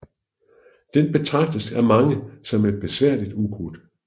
Den betragtes af mange som et besværligt ukrudt